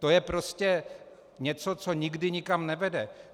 To je prostě něco, co nikdy nikam nevede.